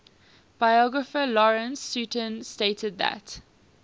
biographer lawrence sutin stated that